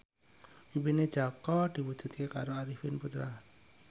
impine Jaka diwujudke karo Arifin Putra